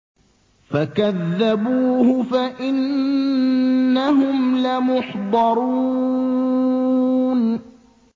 فَكَذَّبُوهُ فَإِنَّهُمْ لَمُحْضَرُونَ